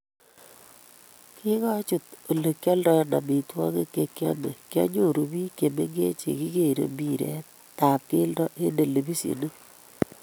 Kingachut olegialndoi amitwogik chegiame kyanyoru biik chemengech chekigeerei mpiret tab keldo eng televishionit